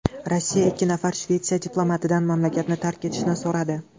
Rossiya ikki nafar Shvetsiya diplomatidan mamlakatni tark etishni so‘radi.